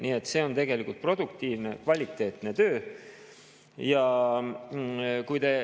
Nii et see on tegelikult produktiivne, kvaliteetne töö.